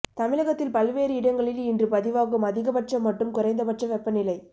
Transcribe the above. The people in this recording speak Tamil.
தமிழகத்தில் பல்வேறு இடங்களில் இன்று பதிவாகும் அதிக பட்ச மற்றும் குறைந்த பட்ச வெப்பநிலை